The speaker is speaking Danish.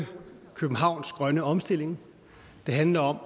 københavns grønne omstilling det handler om